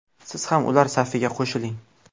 Siz ham ular safiga qo‘shiling!